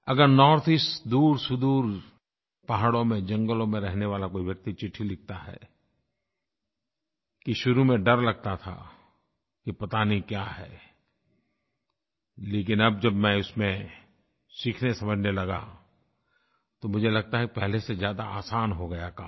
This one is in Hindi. अगर नॉर्थईस्ट दूरसुदूर पहाड़ों में जंगलों में रहने वाला कोई व्यक्ति चिट्ठी लिखता है कि शुरू में डर लगता था कि पता नहीं क्या है लेकिन अब जब मैं उसमें सीखनेसमझने लगा तो मुझे लगता है पहले से ज़्यादा आसान हो गया काम